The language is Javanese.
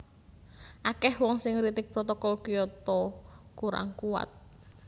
Akèh wong sing ngritik Protokol Kyoto kurang kuwat